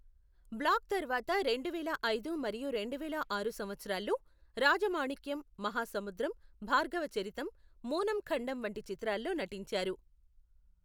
Black తర్వాత రెండు వేల ఐదు మరియు రెండు వేల ఆరు సంవత్సరాల్లో, రాజమాణిక్యం, మహాసముద్రం, భార్గవచరితం మూనం ఖండం వంటి చిత్రాల్లో నటించారు.